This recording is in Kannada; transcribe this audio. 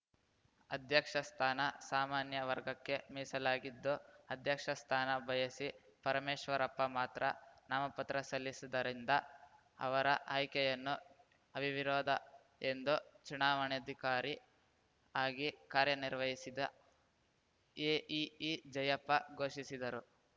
ಅಧ್ಯಕ್ಷ ಸ್ಥಾನ ಸಾಮಾನ್ಯ ವರ್ಗಕ್ಕೆ ಮೀಸಲಾಗಿದ್ದು ಅಧ್ಯಕ್ಷ ಸ್ಥಾನ ಬಯಸಿ ಪರಮೇಶ್ವರಪ್ಪ ಮಾತ್ರ ನಾಮಪತ್ರ ಸಲ್ಲಿಸಿದ್ದರಿಂದ ಅವರ ಆಯ್ಕೆಯನ್ನು ಅವಿರೋಧ ಎಂದು ಚುನಾವಣಾಧಿಕಾರಿ ಆಗಿ ಕಾರ್ಯನಿರ್ವಹಿಸಿದ ಎಇಇ ಜಯಪ್ಪ ಘೋಷಿಸಿದರು